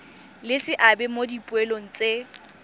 le seabe mo dipoelong tse